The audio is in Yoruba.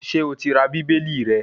Ṣé o ti ra Bíbélì rẹ